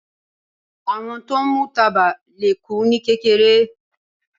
Àwọn tó ń mú tábà le kú ní kékeré.